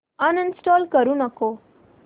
uninstall करू नको